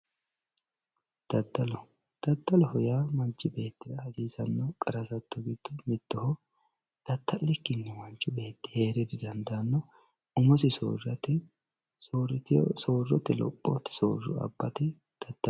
Dadallo, dadalloho yaa manchi beetira hasissano qara hasatto gido mittoho, dadalikini manchi beeti heera didandaano, umosi soorate, soorote lophoti sooro abate dadalla